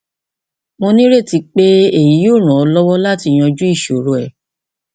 mo nireti pé èyí yóò ràn ọ lọwọ láti yanjú ìṣòro rẹ